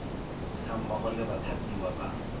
ga mmogo le bathapiwa ba